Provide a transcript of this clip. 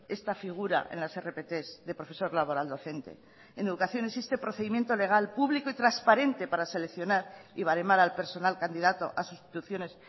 esta figura en las rpt de profesor laboral docente en educación existe procedimiento legal público y transparente para seleccionar y baremar al personal candidato a sustituciones